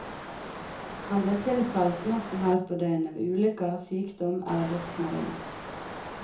Han blir tilkalt når som helst på døgnet ved ulykker, sykdom eller dødsmelding.